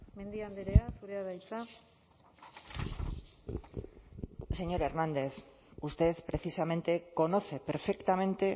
mendia andrea zurea da hitza señor hernández usted precisamente conoce perfectamente